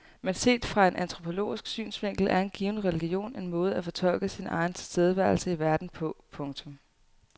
Men set fra en antropologisk synsvinkel er en given religion en måde at fortolke sin egen tilstedeværelse i verden på. punktum